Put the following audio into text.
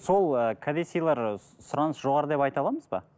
сол ы кәде сыйлар сұраныс жоғары деп айта аламыз ба